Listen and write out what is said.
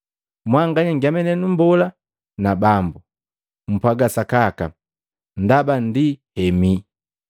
Mwanganya nngemane nu Mbola na Bambu, mpwaga sakaka, ndaba ndi hemii.